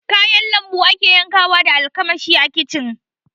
Kayan lambu akace yankawa da almakashi a kicin